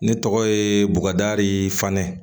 Ne tɔgɔ ye bubakari fanɛ